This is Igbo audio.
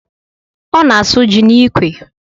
Ọ na-asụ ji n'ikwe